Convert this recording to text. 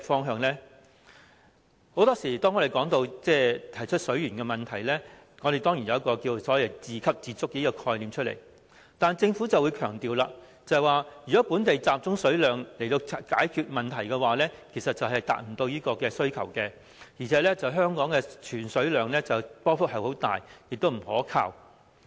很多時候，當我們提出水源問題時，當然會提到所謂自給自足的概念，但政府會強調，如果本地集中水量以解決問題，其實是未能達到需求，而且香港儲水量的波幅很大，亦不可靠。